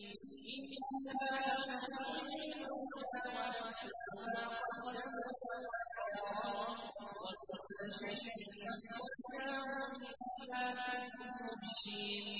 إِنَّا نَحْنُ نُحْيِي الْمَوْتَىٰ وَنَكْتُبُ مَا قَدَّمُوا وَآثَارَهُمْ ۚ وَكُلَّ شَيْءٍ أَحْصَيْنَاهُ فِي إِمَامٍ مُّبِينٍ